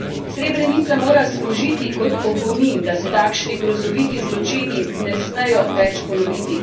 Srebrenica mora služiti kot opomin, da se takšni grozoviti zločini ne smejo več ponoviti.